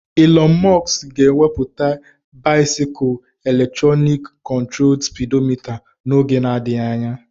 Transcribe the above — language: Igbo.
Electronic controlled bicycles with speedometer will soon be invested by Elon Musk company.